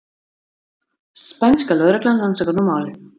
Spænska lögreglan rannsakar nú málið